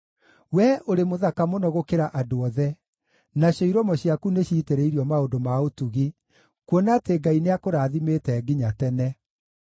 Wee ũrĩ mũthaka mũno gũkĩra andũ othe, nacio iromo ciaku nĩciitĩrĩirio maũndũ ma ũtugi, kuona atĩ Ngai nĩakũrathimĩte nginya tene.